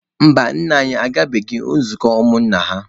Mba, nna anyị agabeghị nzukọ ụmụ nna ha.